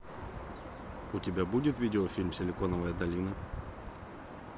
у тебя будет видеофильм силиконовая долина